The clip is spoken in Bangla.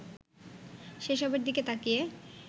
সেসবের দিকে তাকিয়ে